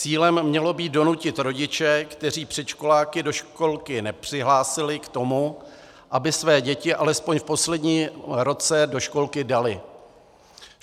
Cílem mělo být donutit rodiče, kteří předškoláky do školky nepřihlásili, k tomu, aby své děti alespoň v posledním roce do školky dali.